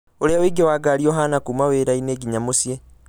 ũrĩa ũingĩ wa ngari ũhaana kuuma wĩra-inĩ nginya mũciĩ